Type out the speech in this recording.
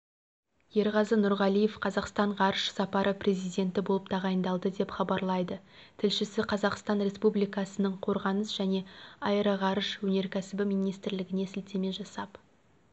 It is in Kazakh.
ерғазы нұрғалиев қазақстан ғарыш сапары президенті болып тағайындалды деп хабарлайды тілшісі қазақстан республикасының қорғаныс және аэроғарыш өнеркәсібі министрлігіне сілтеме жасап